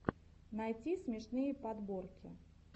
найти смешные подборки